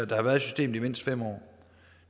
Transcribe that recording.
der har været i systemet i mindst fem år